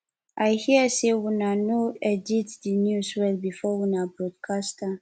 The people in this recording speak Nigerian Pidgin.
i hear say una no edit the news well before una broadcast am